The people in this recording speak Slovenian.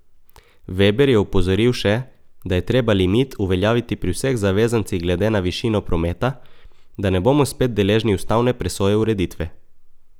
Veber je opozoril še, da je treba limit uveljaviti pri vseh zavezancih glede na višino prometa, da ne bomo spet deležni ustavne presoje ureditve.